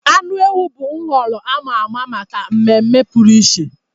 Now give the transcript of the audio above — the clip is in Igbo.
Anụ ewu bụ nhọrọ a ma ama maka mmemme pụrụ iche.